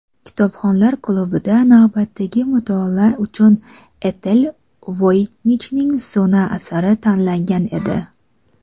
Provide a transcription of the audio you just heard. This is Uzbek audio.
"Kitobxonlar klubi"da navbatdagi mutolaa uchun Etel Voynichning "So‘na" asari tanlangan edi.